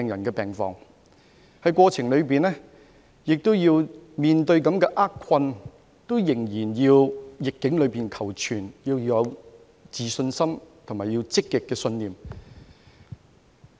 在整個過程中，即使面對厄困仍要在逆境中求存，要有自信心及積極的信念。